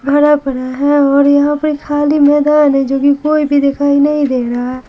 भरा पड़ा है और यहाँ पर खाली मैदान है लेकिन कोई भी दिखाई नहीं दे रहा है।